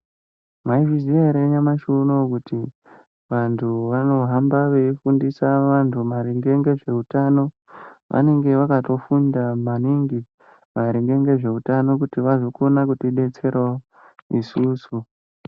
Maizviziya here nyamashi unoo kuti vantu vanohamba veifundisa vantu maringe ngezveutano vanenge vakatofunda maringe ngezveutano kuti vazokona kutidetserawo isusu.